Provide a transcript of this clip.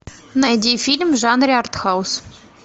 найди фильм в жанре артхаус